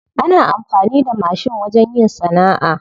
Ana amfani da mashin wajen yin sana'a.